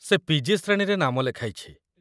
ସେ ପି.ଜି. ଶ୍ରେଣୀରେ ନାମ ଲେଖାଇଛି